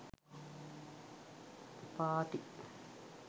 party